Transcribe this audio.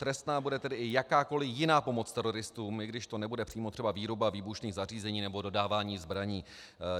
Trestná bude tedy i jakákoli jiná pomoc teroristům, i když to nebude přímo třeba výroba výbušných zařízení nebo dodávání zbraní.